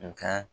U ka